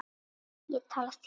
Ég tala þýsku!